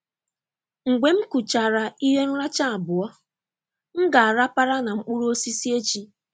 Mgbe m kuchara ihe nracha abụọ, m ga-arapara na mkpụrụ osisi echi.